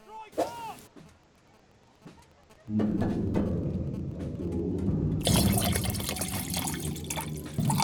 фильм американский актер уилл смит дикий дикий вест смотреть